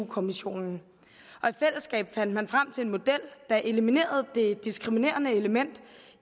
kommissionen og i fællesskab fandt man frem til en model der eliminerede det diskriminerende element